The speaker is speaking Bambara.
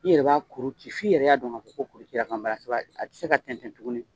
I yɛrɛ b'a kuru ci f' i yɛrɛ y'a dɔn ko kuru cira a tɛ se ka tɛntɛn tugun